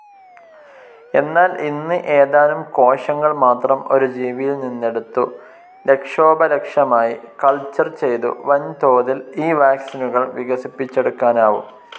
എന്നാൽ ഇന്ന് ഏതാനും കോശങ്ങൾ മാത്രം ഒരു ജീവിയിൽ നിന്നെടുത്തു ലക്ഷോപലക്ഷമായി കൾച്ചർ ചെയ്തു വൻതോതിൽ ഈ വാക്സിനുകൾ വികസിപ്പിചെടുക്കാനാവും.